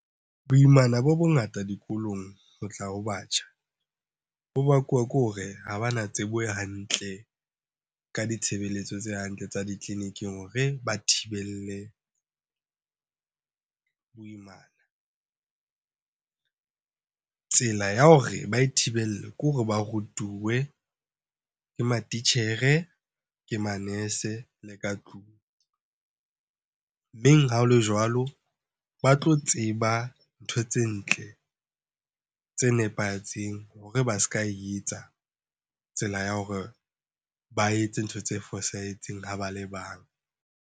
Boimana bo bongata dikolong ho tla ho batjha bo bakuwa ke hore ha bana tsebo e hantle ka ditshebeletso tse hantle tsa ditleliniking hore ba thibelle boimana. Tsela ya hore ba e thibelle ke hore ba rutuwe ke matitjhere, ke manese, le ka tlung. Mmeng ha ho le jwalo, ba tlo tseba ntho tse ntle tse nepahetseng hore ba s'ka e etsa tsela ya hore ba etse ntho tse fosahetseng ha ba le bang.